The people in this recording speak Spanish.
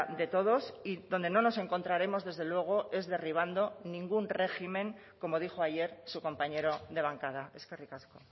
de todos y donde no nos encontraremos desde luego es derribando ningún régimen como dijo ayer su compañero de bancada eskerrik asko